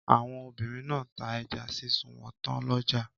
Àwọn obìnrin náà ta ẹja sísun wọn tán lọ́jà.